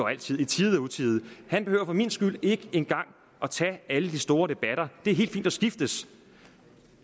altid i tide og utide han behøver for min skyld ikke engang at tage alle de store debatter det er helt fint at skiftes